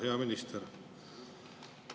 Hea minister!